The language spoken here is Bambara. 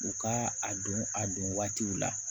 U ka a don a don waatiw la